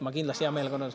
Ma kindlasti hea meelega …